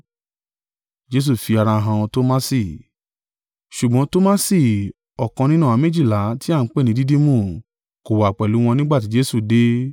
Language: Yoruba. Ṣùgbọ́n Tomasi, ọ̀kan nínú àwọn méjìlá, tí a ń pè ní Didimu, kò wà pẹ̀lú wọn nígbà tí Jesu dé.